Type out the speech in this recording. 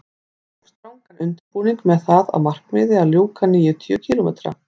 Ég hóf strangan undirbúning með það að markmiði að ljúka níutíu kílómetra